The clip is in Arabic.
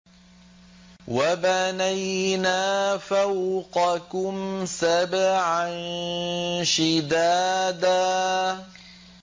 وَبَنَيْنَا فَوْقَكُمْ سَبْعًا شِدَادًا